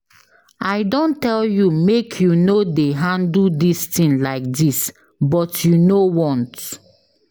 I don tell you make you no dey handle dis thing like dis but you know want.